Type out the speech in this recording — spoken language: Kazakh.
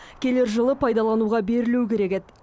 келер жылы пайдалануға берілу керек еді